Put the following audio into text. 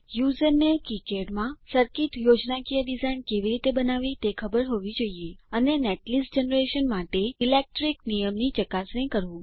યુઝરને કિકાડ માં સરકીટ યોજનાકીય ડિઝાઇન કેવી રીતે બનાવવી તે ખબર હોવી જોઇએ અને નેટલીસ્ટ જનરેશન માટે ઇલેક્ટ્રીક નિયમની ચકાસણી કરવું